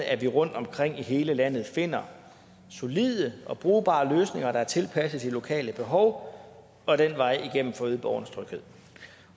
at vi rundtomkring i hele landet finder solide og brugbare løsninger der er tilpasset de lokale behov og den vej igennem får øget borgernes tryghed